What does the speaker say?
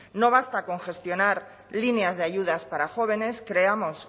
no basta con gestionar líneas de ayudas para jóvenes creamos